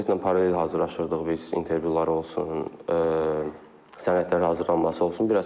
Universitetlə paralel hazırlaşırdıq biz, intervyular olsun, sənədlərin hazırlanması olsun.